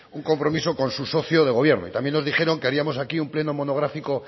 un compromiso con su socio de gobierno y también nos dijeron que haríamos aquí un pleno monográfico